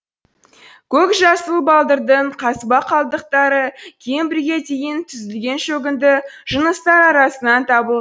көк жасыл балдырдың қазба қалдықтары кембрийге дейін түзілген шөгінді жыныстар арасынан табылды